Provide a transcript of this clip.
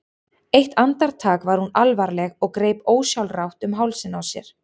Eitt andartak var hún alvarleg og greip ósjálfrátt um hálsinn á sér.